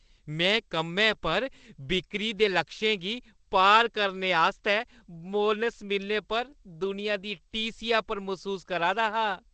में कम्मै पर बिक्करी दे लक्षें गी पार करने आस्तै बोनस मिलने पर दुनिया दी टीह्‌सी पर मसूस करा दा हा।